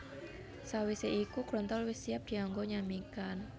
Sawisé iku grontol wis siap dianggo nyamikan